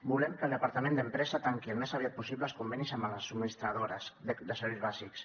volem que el departament d’empresa tanqui al més aviat possible els convenis amb les subministradores de serveis bàsics